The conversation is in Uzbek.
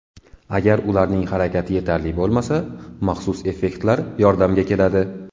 Agar ularning harakati yetarli bo‘lmasa, maxsus effektlar yordamga keladi.